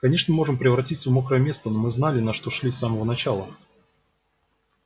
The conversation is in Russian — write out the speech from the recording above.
конечно мы можем превратиться в мокрое место но мы знали на что шли с самого начала